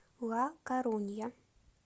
ла корунья